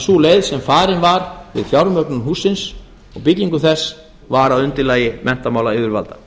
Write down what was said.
sú leið sem farin var við fjármögnun hússins og byggingu þess var að undirlagi menntamálayfirvalda